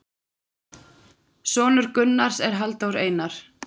Sonur Gunnars er Halldór Einar.